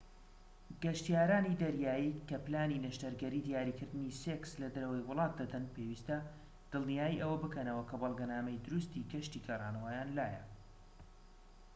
گەشتیارانی دەریایی کە پلانی نەشتەرگەری دیاریکردنەوەی سێکس لە دەرەوەی وڵات دەدەن پێویستە دڵنیای ئەوە بکەنەوە کە بەڵگەنامەی دروستی گەشتی گەڕانەوەیان لایە